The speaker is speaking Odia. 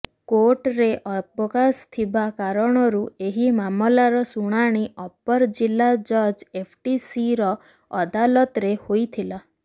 କୋର୍ଟରେ ଅବକାଶ ଥିବା କାରଣରୁ ଏହି ମାମଲାର ଶୁଣାଣି ଅପର ଜିଲ୍ଲା ଜଜ ଏଫଟିସିର ଅଦାଲତରେ ହୋଇଥିଲା